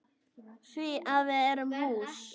Því að við erum hús.